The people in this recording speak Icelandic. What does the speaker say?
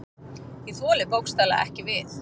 Ég þoli bókstaflega ekki við.